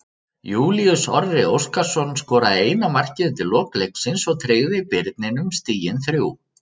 Júlíus Orri Óskarsson skoraði eina markið undir lok leiksins og tryggði Birninum stigin þrjú.